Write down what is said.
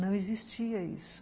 Não existia isso.